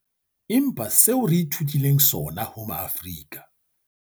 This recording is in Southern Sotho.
Empa seo re ithutileng sona ho Maafrika